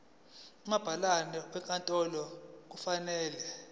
umabhalane wenkantolo kufanele